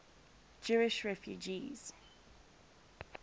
jewish refugees